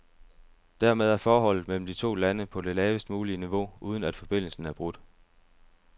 Dermed er forholdet mellem de to lande på det lavest mulige niveau, uden at forbindelsen er brudt.